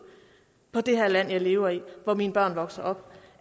på det her land jeg lever i hvor mine børn vokser op